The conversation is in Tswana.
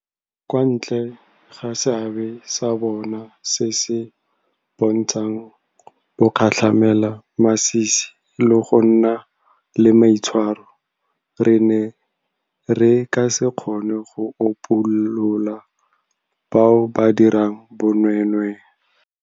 Kwa ntle ga seabe sa bona se se bontshang bogatlhamelamasisi le go nna le maitshwaro, re ne re ka se kgone go upolola bao ba dirang bonweenwee.